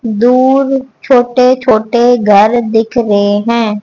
दो छोटे छोटे घर दिख रहे हैं।